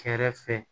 Kɛrɛfɛ